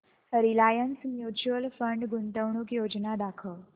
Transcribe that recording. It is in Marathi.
रिलायन्स म्यूचुअल फंड गुंतवणूक योजना दाखव